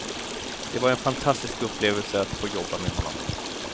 Det var en fantastisk upplevelse att få jobba med honom.